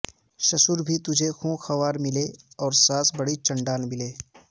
سسرا بھی تجھے خوں خوار ملے اور ساس بڑی چنڈال ملے